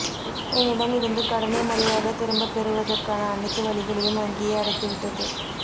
என்னிடம் இருந்து கடனை முறையாகத் திரும்பப் பெறுவதற் கான அனைத்து வழிகளையும் வங்கியே அடைத்துவிட்டது